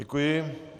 Děkuji.